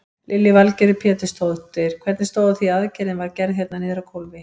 Lillý Valgerður Pétursdóttir: Hvernig stóð á því að aðgerðin var gerð hérna niðri á gólfi?